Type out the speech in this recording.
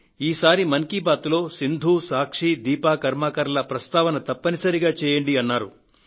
ఈసారి మన్ కీ బాత్ లో సింధు సాక్షి దీపా కర్మాకర్ ల ప్రస్తావన తప్పనిసరిగా చేయండి అన్నారు